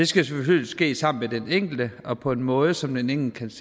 selvfølgelig ske sammen med den enkelte og på en måde som den enkelte